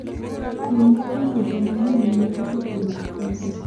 Pimna kuom weche manyien mane ochopo mag siasa